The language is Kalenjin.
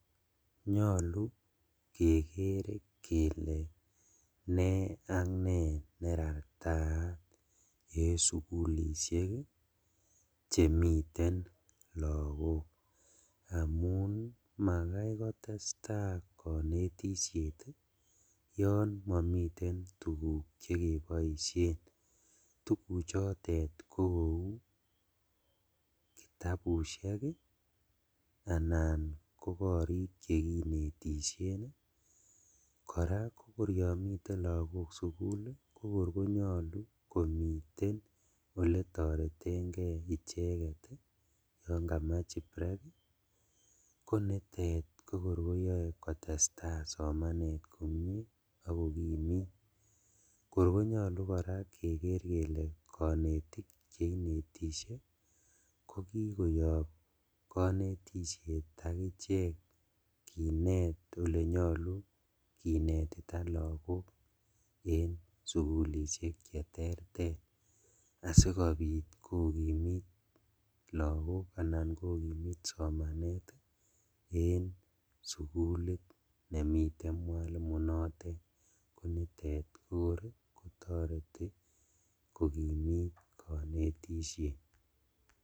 Nyolu keker kele me ak me ne ratateng sukulishek chemiten lakok amun makoi kotestai konetishet yon mamiten tukuk chekeboishen tukuk chotet ko kou kitabushek anan ko korik chekinetishen kora koryomiten lakok sukul ko kor konyolu komiten ole toretenke icheket yon katach ingbrek ko nitot koyoe kotestai somanet komie ako kimit kor konyolu kora keker kele konetik cheinetishe koki koyop kanetishet akichek kinet olenyolu kinetita lakok en sukulishek che ter ter asikobit kokimit lakok anan kokimit somanet en sukulit nemiten mwalimoit notet konotet kokor toreti kokimit konetishet.